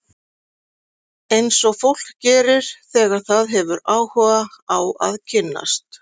Eins og fólk gerir þegar það hefur áhuga á að kynnast.